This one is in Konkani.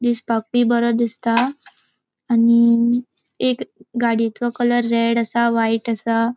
दिसपाक बी बोरो दिसता आणि एक गड़िएचो कलर रेड असा व्हाइट असा.